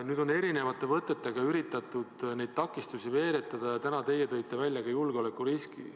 Nüüd on erinevate võtetega üritatud teele takistusi veeretada, täna tõite te välja ka julgeolekuriski.